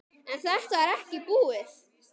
En þetta var ekki búið.